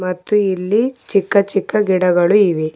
ಮತ್ತು ಇಲ್ಲಿ ಚಿಕ್ಕ ಚಿಕ್ಕ ಗಿಡಗಳು ಇವೆ.